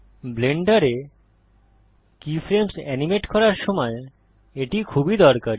ব্লেন্ডারে keyframes animate করার সময় এটি খুবই দরকারী